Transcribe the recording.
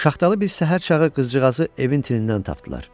Şaxtalı bir səhər çağı qızcığazı evin tinindən tapdılar.